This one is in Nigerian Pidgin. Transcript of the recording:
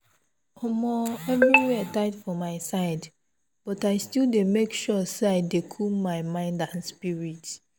omoeverywhere tight for my side but i still dey make sure say i dey cool my mind and spirit.